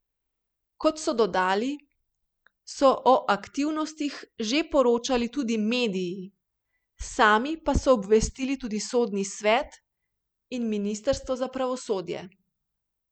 Kot so dodali, so o aktivnostih že poročali tudi mediji, sami pa so obvestili tudi sodni svet in ministrstvo za pravosodje.